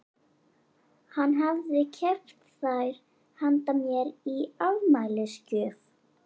Hann hafði keypt þær handa mér í afmælisgjöf.